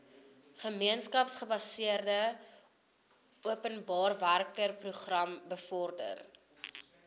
gemeenskapsgebaseerde openbarewerkeprogram bevorder